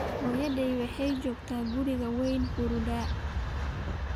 Hooyaday waxay joogtaa guriga wayna huruddaa